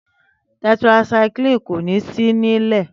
Tẹtaisaiklínì kò ní sí nílẹ̀